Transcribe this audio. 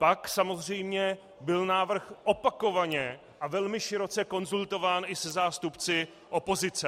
Pak samozřejmě byl návrh opakovaně a velmi široce konzultován i se zástupci opozice.